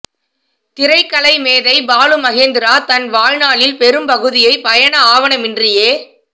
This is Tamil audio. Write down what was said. திரைக்கலை மேதை பாலு மகே ந்திரா தன் வாழ் நாளில் பெரும்பகு தியைப் பயண ஆவ ணமின்றியே